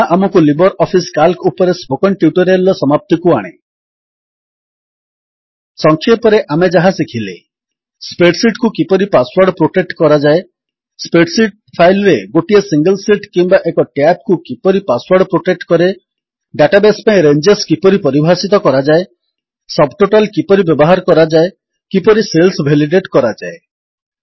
ଏହା ଆମକୁ Libre Office Calc ଉପରେ ସ୍ପୋକନ୍ ଟ୍ୟୁଟୋରିଆଲ୍ ର ସମାପ୍ତିକୁ ଆଣେ ସଂକ୍ଷେପରେ ଆମେ ଯାହା ଶିଖିଲେ ସ୍ପ୍ରେଡ୍ ଶୀଟ୍ କୁ କିପରି ପାସୱର୍ଡ ପ୍ରୋଟେକ୍ଟ କରାଯାଏ ସ୍ପ୍ରେଡ୍ ଶୀଟ୍ ଫାଇଲ୍ ରେ ଗୋଟିଏ ସିଙ୍ଗଲ୍ ଶୀଟ୍ କିମ୍ୱା ଏକ ଟ୍ୟାବ୍ କୁ କିପରି ପାସୱର୍ଡ ପ୍ରୋଟେକ୍ଟ କରେ ଡାଟାବେସ୍ ପାଇଁ ରେଞ୍ଜେସ୍ କିପରି ପରିଭାଷିତ କରାଯାଏ ସବ୍ ଟୋଟାଲ୍ କିପରି ବ୍ୟବହାର କରାଯାଏ କିପରି ସେଲ୍ସ ଭେଲିଡେଟ୍ କରାଯାଏ